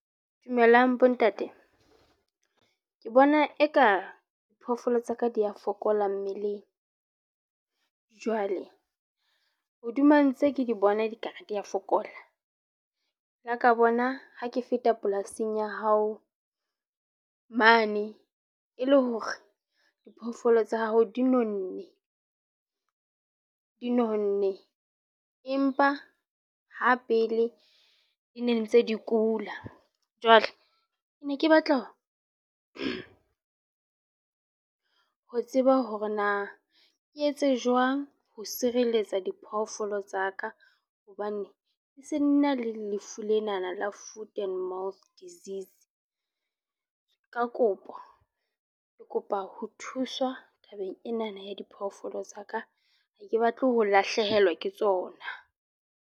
Dumelang bontate, ke bona eka diphoofolo tsaka di ya fokola mmeleng jwale hodima ntse ke di bona, di ka re di ya fokola la ka bona ha ke feta polasing ya hao mane e le hore diphoofolo tsa hao dinonne empa ha pele di ntse di kula. Jwale ke ne ke batla ho tseba hore na ke etse jwang ho sireletsa diphoofolo tsa ka, hobane tlung ne se na le lefu lena la Food and Mouth Disease. Ka kopo ke kopa ho thuswa tabeng ena na ya diphoofolo tsa ka. Ha ke batle ho lahlehelwa ke tsona.